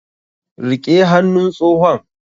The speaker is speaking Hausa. Riƙe hannun tsohon!